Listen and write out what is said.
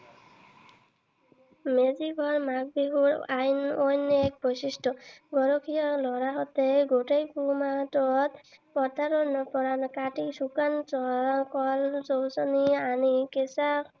মেজি ঘৰ মাঘ বিহুৰ অইন এক বৈশিষ্ট্য। গৰখীয়া লৰাহতে গোটেই পুহ মাহটোত পথাৰৰ শুকান নৰা কাটি শুকান গছ গছনি আনি কেচা